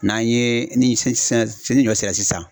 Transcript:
N'an ye ni ni ɲɔ sera sisan.